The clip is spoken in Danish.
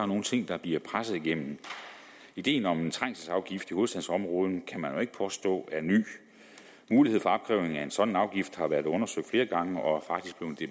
nogle ting der bliver presset igennem ideen om en trængselsafgift i hovedstadsområdet kan man jo ikke påstå er ny mulighed for opkrævning af en sådan afgift har været undersøgt flere gange og